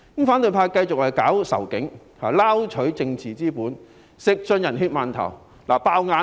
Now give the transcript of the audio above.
反對派繼續推動仇警情緒，撈取政治資本，吃盡"人血饅頭"。